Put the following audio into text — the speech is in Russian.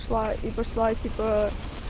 шла и пошла типа